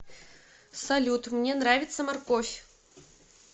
салют мне нравится морковь